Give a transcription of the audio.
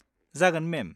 जागोन, मेम।